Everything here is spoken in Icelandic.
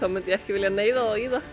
myndi ég ekki vilja neyða þá í það